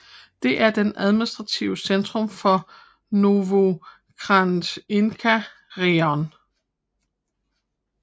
Den er det administrative centrum for Novoukrajinka rajon